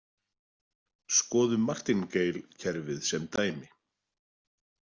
Skoðum Martingale-kerfið sem dæmi.